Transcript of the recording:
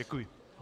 Děkuji.